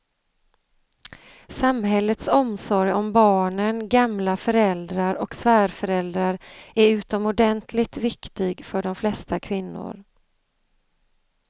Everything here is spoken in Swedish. Samhällets omsorg om barnen, gamla föräldrar och svärföräldrar är utomordentligt viktig för de flesta kvinnor.